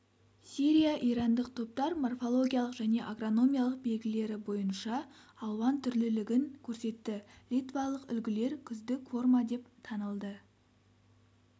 сирия-ирандық топтар морфологиялық және агрономиялық белгілері бойынша алуан түрлілігін көрсетті литвалық үлгілер күздік форма деп танылды